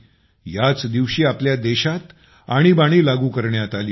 याच दिवशी आपल्या देशावर आणीबाणी लागू करण्यात आली होती